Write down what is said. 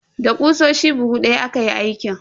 Da ƙusoshi buhu daya aka yi aikin.